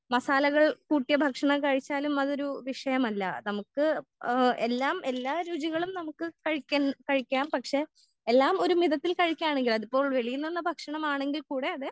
മസാലകളും കൂട്ടിയ ഭക്ഷണം കഴിച്ചാലും അതൊരു വിഷയമല്ല. നമ്മുക്ക് ഏഹ് എല്ലാം എല്ലാ രുചികളും നമ്മുക്ക് കഴിക്കാൻ കഴിക്കാം പക്ഷെ എല്ലാം ഒരു മിതത്തിൽ കഴിക്കാണെങ്കിൽ അതിപ്പോ വെളിയിലുള്ള ഭക്ഷണമാണെകിൽ കൂടെ അത്